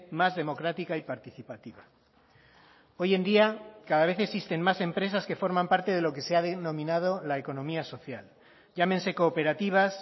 más democrática y participativa hoy en día cada vez existen más empresas que forman parte de lo que se ha denominado la economía social llámense cooperativas